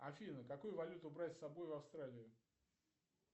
афина какую валюту брать с собой в австралию